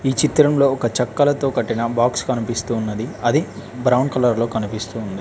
చిత్రంలో ఒక చెక్కల తో కట్టిన బాక్స్ కనిపిస్తు ఉన్నది అది బ్రౌన్ కలర్ లో కనిపిస్తూ ఉంది.